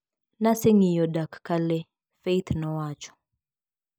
"Naseng`iyo dak ka lee," Faith nowacho.